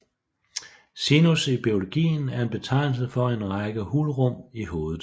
Sinus i biologien er en betegnelsen for en række hulrum i hovedet